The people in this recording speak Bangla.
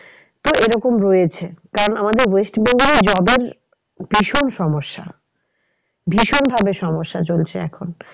তো এরকম রয়েছে কারণ আমাদের west bengal এ job এর ভীষণ সমস্যা ভীষণ ভাবে সমস্যা চলছে এখন।